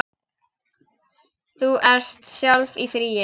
Þú ert sjálf í fríi.